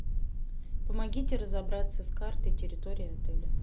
помогите разобраться с картой территории отеля